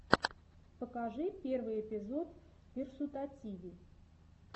покажи первый эпизод версутативи